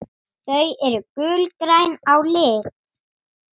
Þau eru gulgræn á lit.